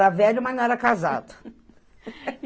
Era velho, mas não era casado.